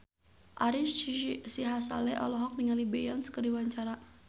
Ari Sihasale olohok ningali Beyonce keur diwawancara